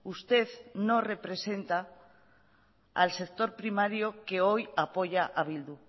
usted no representa al sector primario que hoy apoya a bildu